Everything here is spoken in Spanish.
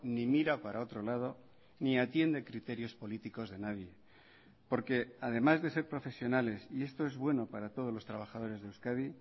ni mira para otro lado ni atiende criterios políticos de nadie porque además de ser profesionales y esto es bueno para todos los trabajadores de euskadi